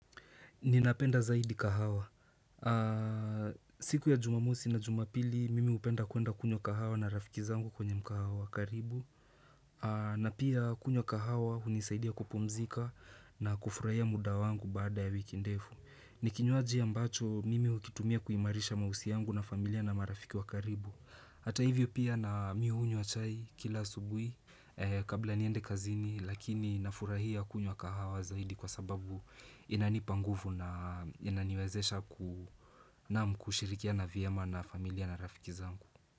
Ninapenda zaidi kahawa. Siku ya jumamusi na jumapili, mimi hupenda kuenda kunywa kahawa na rafiki zangu kwenye mkahawa wakaribu. Na pia kunywa kahawa unisaidia kupomzika na kufurahia muda wangu bada ya wikindefu. Nikinywanji ambacho, mimi ukitumia kuimarisha mausi yangu na familia na marafiki wa karibu. Hata hivyo pia na miuunywa kila asubuhi kabla niende kazini lakini na furahia kunywa kahawa zaidi kwa sababu inani panguvu na inaniwezesha namna kushirikia na vyema na familia na rafiki zangu.